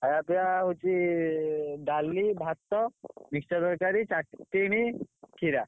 ଖାଇବା ପିବା ହଉଛି ଡାଲି ଭାତ ତରକାରୀ ଖଟାରୀ ଖିରା।